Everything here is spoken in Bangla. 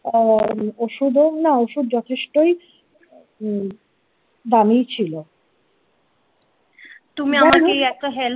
আ ওষুধ ও না ওষুধ যথেষ্টই হম দামী ছি